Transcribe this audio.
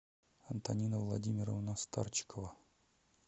антонина владимировна старчикова